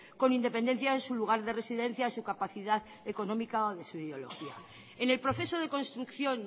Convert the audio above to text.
con independencia de su lugar de residencia su capacidad económica o de su ideología en el proceso de construcción